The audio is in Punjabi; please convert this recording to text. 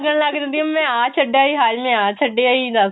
ਲੱਗਣ ਲੱਗ ਜਾਂਦੀ ਆ ਮੈਂ ਆਹ ਛੱਡ ਆਈ ਹਾਏ ਮੈਂ ਆਹ ਛੱਡ ਆਈ ਦੱਸ